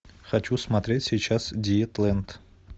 хочу смотреть сейчас диетлэнд